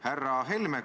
Härra Helme!